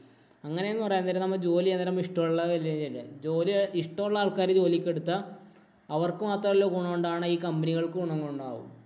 അങ്ങനെ എന്ന് പറയാന്‍ നേരം നമ്മള് ജോലി ചെയ്യാന്‍ നേരം ഇഷ്ടമുള്ള അല്ലേ. ജോലി ഇഷ്ടമുള്ള ആള്‍ക്കാരെ ജോലിക്ക് എടുത്താ അവര്‍ക്ക് മാത്രമല്ല ഗുണമുണ്ടാവണെ. ഈ company കള്‍ക്കും ഗുണങ്ങളുണ്ടാകും.